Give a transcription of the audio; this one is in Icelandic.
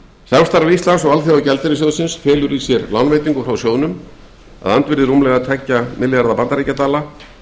samstarf íslands og alþjóðagjaldeyrissjóðsins felur í sér lánveitingu frá sjóðnum að andvirði rúmlega tveggja milljörðum bandaríkjadala